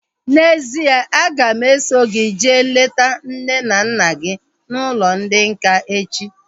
N'ezie, a ga m eso gị jee leta nne na nna gị n'ụlọ ndị nká echi